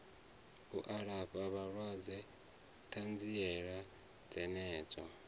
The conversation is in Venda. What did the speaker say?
u alafha vhalwadze ṱanziela dzenedzo